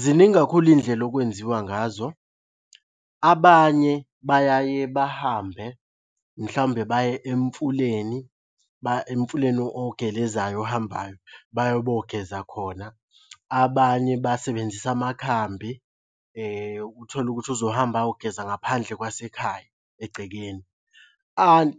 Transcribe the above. Ziningi kakhulu iy'ndlela okwenziwa ngazo. Abanye bayaye bahambe, mhlawumbe baye emfuleni, emfuleni ogelezayo ohambayo baye bayogeza khona. Abanye basebenzisa amakhambi uthole ukuthi uzohamba ayogeza ngaphandle kwasekhaya egcekeni.